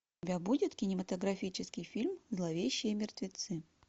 у тебя будет кинематографический фильм зловещие мертвецы